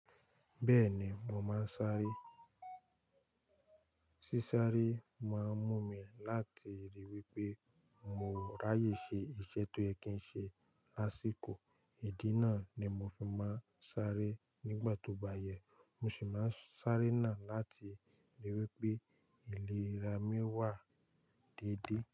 Bẹ́ẹ̀ni, mo máa ń sáré. Sísáré máa ń mú mi láti ríi wí pé mo ráyè ṣe iṣẹ́ tó yẹ kí ń ṣe lásìkò. Ìdí náà ni mo fi máa ń sáré. Nígbà tó bá yẹ, mo sì máa ń sáré náà láti ríi wí pé ìlera mi wà déédéé.